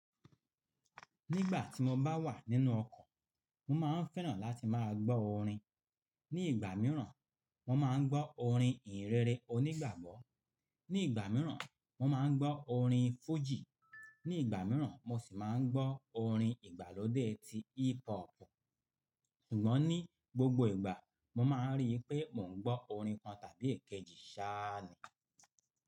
Nígbà tí mo bá wà nínú ọkọ̀, mo máa ń fẹ́ràn láti máa gbọ́ orin. Ní ìgbà míràn, mo máa ń gbọ́ orin ìhìnrere onígbàgbọ́, ní ìgbà míràn, mo máa ń gbọ́ orin fújì, ní ìgbà míràn mo sì máa ń gbọ́ orin ìgbàlódé tí hip hop. Ṣùgbọ́n ní gbogbo ìgbà, mo máa ń rí pé mò ń gbọ́ orin kan tàbí èkejì sáà ni.